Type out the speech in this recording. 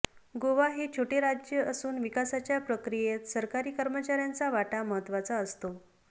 गोवा हे छोटे राज्य असून विकासाच्या प्रक्रियेत सरकारी कर्मचाऱयांचा वाटा महत्त्वाचा असतो